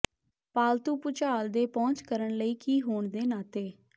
ਪਾਲਤੂ ਭੁਚਾਲ ਦੇ ਪਹੁੰਚ ਕਰਨ ਲਈ ਕੀ ਹੋਣ ਦੇ ਨਾਤੇ